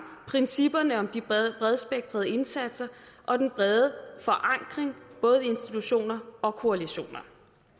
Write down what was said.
principperne om de bredspektrede indsatser og den brede forankring både i institutioner og koalitioner